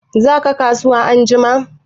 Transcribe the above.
Za ka kasuwa anjima?